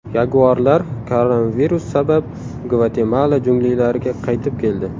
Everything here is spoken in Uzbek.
Yaguarlar koronavirus sabab Gvatemala junglilariga qaytib keldi.